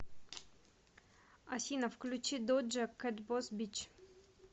афина включи доджа кэт босс бич